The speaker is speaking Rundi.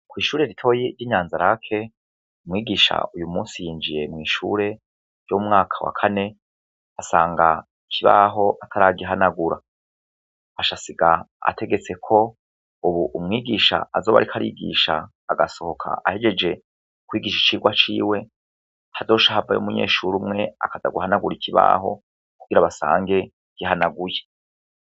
Kw'ishure ritoyi ry'inyanzarake umwigisha uyu musi yinjiye mw'ishure ryo umwaka wa kane asanga kibaho ataragihanagura ashasiga ategetse ko, ubu umwigisha azoba, ariko arigisha agasohoka ahejeje kwigisha icirwa ciwe tadoshahabaye umunyeshu urumwe akazaguhanagura ikibaho kugira abasange gihanaguye.